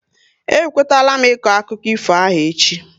E kwetala m iko akụkọ ifo ahụ echi